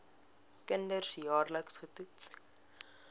kinders jaarliks getoets